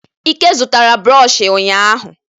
Ike zụtara brooshi ụnyahụ.